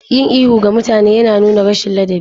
Yin ihu ga mutane yana nuna rashin ladabi.